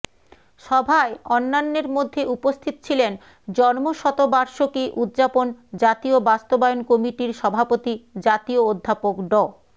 সভায় অন্যান্যের মধ্যে উপস্থিত ছিলেন জন্মশতবার্ষকী উদযাপন জাতীয় বাস্তবায়ন কমিটির সভাপতি জাতীয় অধ্যাপক ড